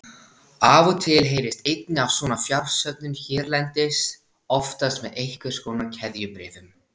Af og til heyrist einnig af svona fjársöfnun hérlendis, oftast með einhvers konar keðjubréfum.